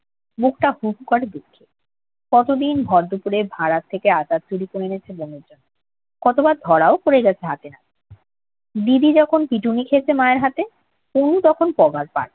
বুকটা হু হু করে দুঃখে। কতদিন ভরদুপুরে ভাড়ার থেকে আচার চুরি করে এনেছে বোনের জন্যে। কতবার ধরাও পরে গেছে হাতে-নাতে। দিদি যখন পিটুনি খেয়েছে মায়ের হাতে, তনু তখন পগারপাড়।